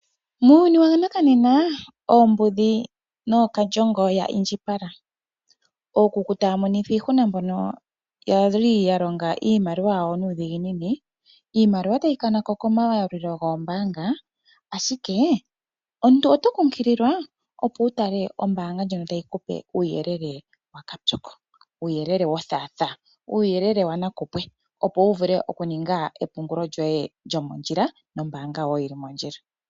Muuyuni wanakanena oombudhi odhi indjipala. Ookuku taya monithwa iihuna mbono yali yalonga iimaliwa yawo nuudhiginini. Iimaliwa tayi kanako komayalulilo goombanga ashike omuntu oto nkukililwa, opo wutale ombaanga ndjono tayi kupe uuyelele wakapyoko, wothatha wanakupwe, opo wu vule oku ninga epungulo lyomondjila nombaanga yomondjila.